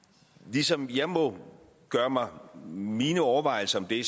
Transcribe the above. ligesom jeg må gøre mig mine overvejelser om det